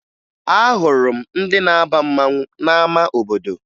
Ahụrụ m ndị na-aba mmanwụ n'ama obodo